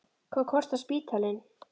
Hvað kostar spítalinn?